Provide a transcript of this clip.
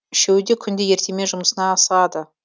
үшеуі де күнде ертемен жұмысына асығады